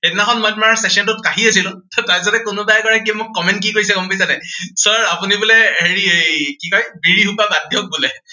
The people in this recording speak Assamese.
সেইদিনাখন মই তোমাৰ session টোত কাহি আছিলো। তাৰ পিছতে কোনোবাই কয় কি মোক comment কি কৰিছে গম পাইছা নাই? sir আপুনি বোলে হেৰি এৰ এই কি কয়, বিড়ি সোপা বাদ দিয়ক বোলে।